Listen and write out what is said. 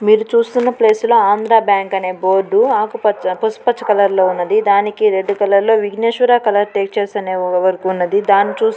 మీరు చూస్తున్న ప్లేసు లో ఆంధ్ర బ్యాంక్ అనే బోర్డు ఆకుపచ్చ పసుపచ్చ కలర్ లో ఉన్నది.దానికి రెడ్ కలర్ లో విగ్నేశ్వర కలర్ టేచర్స్ అనే ఓ ఓ వర్క్ ఉన్నది.దాన్ని చూసి--